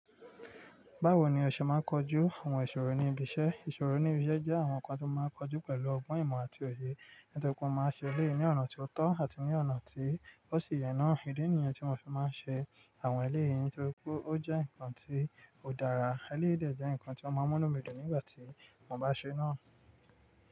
Báwo ni ọṣẹ máa ń kojú àwọn ìṣòro ní ibi iṣẹ́? Ìṣòro ní ibi iṣẹ́ jẹ́ àwọn nǹkan tí ó máa ń kojú pẹ̀lú ọgbọ́n ìmọ̀ àti òye, nítorí pé ó máa ń ṣe ilé ní ọ̀nà tí ó tọ́ àti ní ọ̀nà tí ó sì yẹ náà. Idi niyen tí mọ fi máa ń ṣe àwọn eleyìí nítorí pé ó jẹ́ nǹkan tí ó dára. Eleyi de jẹ́ nǹkan tí ó máa ń mú inu mi dùn nígbà tí mo bá ṣe náà.